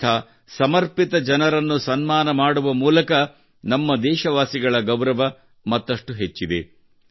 ಇಂಥ ಸಮರ್ಪಿತ ಜನರನ್ನು ಸನ್ಮಾನ ಮಾಡುವ ಮೂಲಕ ನಾವು ದೇಶವಾಸಿಗಳ ಗೌರವ ಮತ್ತಷ್ಟು ಹೆಚ್ಚಿದೆ